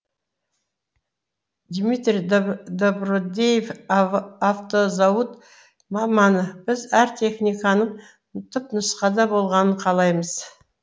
дмитрий добродеев автозауыт маманы біз әр техниканың түпнұсқада болғанын қалаймыз